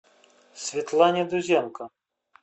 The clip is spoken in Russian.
светлана дузенко